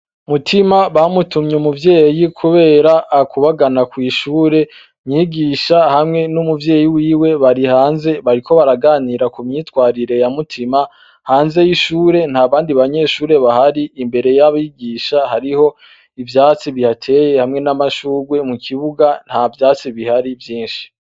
Mutima bamutumye umuvyeyi kubera akubagana kwishure, umwigisha hamwe n' umuvyeyi wiwe bari hanze bariko baraganira kumyitwarire ya mutima hanze ya ishure ntabandi banyeshure bahari imbere y' abigisha hariho ivyatsi bihateye hamwe n' amashugwe mukibuga ntavyatsi bihari vyinshi.